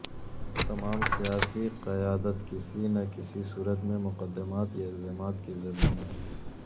تمام سیاسی قیادت کسی نہ کسی صورت میں مقدمات یا الزامات کی زد میں ہے